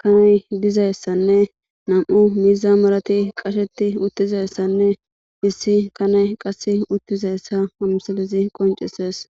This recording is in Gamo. kanay dizayssanne nam'u miiza malati qasheti uttizayssanne issi kanay qasse uttizayssa amisilezi qoncisees.